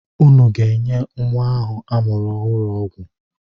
Ụnụ ga-enye nwa ahụ amụrụ ọhụrụ ọgwụ!